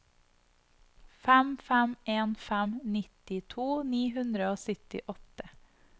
fem fem en fem nittito ni hundre og syttiåtte